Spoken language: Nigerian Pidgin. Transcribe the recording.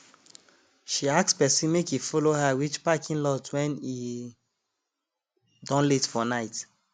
she ask person make e follow her reach parking lot when e don late for night